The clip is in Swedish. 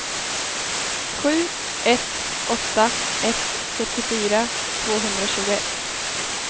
sju ett åtta ett sjuttiofyra tvåhundratjugoett